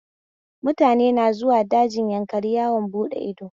Mutane na zuwa dajin Yankari yawon buɗe ido